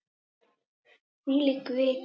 Þvílík vika!